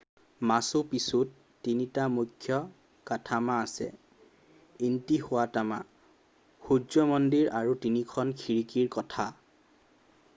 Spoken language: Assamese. মাচু পিচুত তিনিটা মুখ্য কাঠামো আছে ইণ্টিহুৱাটানা সূৰ্য মন্দিৰ আৰু তিনিখন খিৰিকিৰ কোঠা